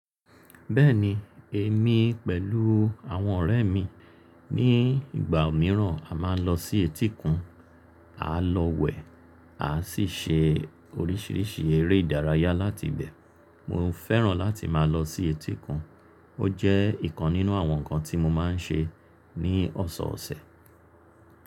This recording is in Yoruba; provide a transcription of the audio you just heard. Bẹ́ẹ̀ni, èmi pẹ̀lú àwọn ọ̀rẹ́ mi ní ìgbà mìíràn a máa ń lọ sí etíkun, à lọ wẹ̀, a sì ṣe oríṣiríṣi eré ìdárayá láti ibẹ̀. Mo ń fẹ́ràn láti máa lọ sí etíkun. Ó jẹ́ ìkan nínú àwọn nǹkan tí mo máa ń ṣe ní ọ̀sọ̀ọ̀sẹ̀.